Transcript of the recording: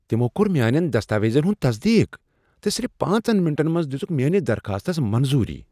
تمو كور میانین دستاویزن ہُند تصدیق تہٕ صرف پانژن منٹن منٛز دِژكھ میانِس درخاستس منظوٗری۔